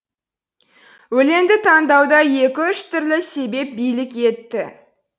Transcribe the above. өлеңді таңдауда екі үш түрлі себеп билік етті